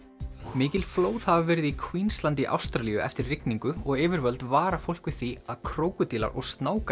mikil flóð hafa verið í Queensland í Ástralíu eftir rigningu og yfirvöld vara fólk við því að krókódílar og